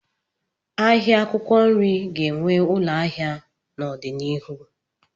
Ahịa akwụkwọ nri ga-enwe ụlọ ahịa n'obianihu.